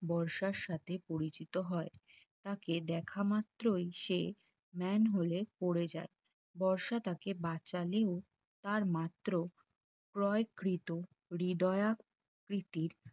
বর্ষার সাথে পরিচিত হয় তাকে দেখামাত্রই সে Manhole এ পড়ে যায় বর্ষা তাকে বাঁচালে ও তার মাত্র ক্রয়কৃত হিদিয়াকৃতির